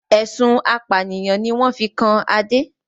Ẹ̀sùn apànìyàn ni wọn fi kan Adé